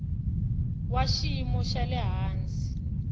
wa xiyimo xa le hansi